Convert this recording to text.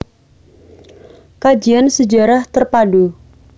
Kajian Sejarah Terpadu